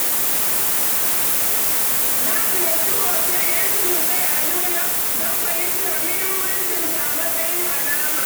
Na ziyarci hoton 'Yancin Kai a New York don fahimtar muhimmancinsa a matsayin alama.